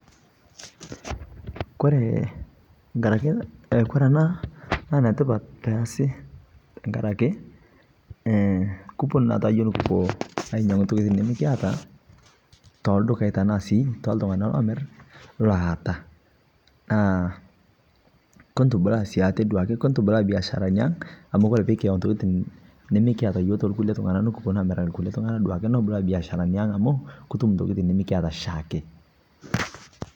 kore anaa netipat pee eyasii amuu kuponuu yoo nikiponuu ainyanguu ntokitin nimikiataa to ldukai oo ashuu sii te ltunganaa lomir. Kuntubulaa atee oo biasharanii aang tinikiaz anaa baye